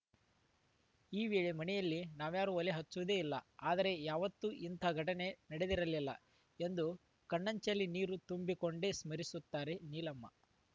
ಈ ವೇಳೆ ಮನೆಯಲ್ಲಿ ನಾವ್ಯಾರೂ ಒಲೆ ಹಚ್ಚುವುದೇ ಇಲ್ಲ ಆದರೆ ಯಾವತ್ತೂ ಇಂತಹ ಘಟನೆ ನಡೆದಿರಲಿಲ್ಲ ಎಂದು ಕಣ್ಣಂಚಲ್ಲಿ ನೀರು ತಂದುಕೊಂಡೇ ಸ್ಮರಿಸುತ್ತಾರೆ ನೀಲಮ್ಮ